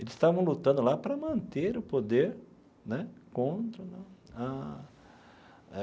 Eles estavam lutando lá para manter o poder, né, contra a...